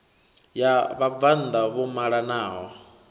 ya vhabvann ḓa vho malanaho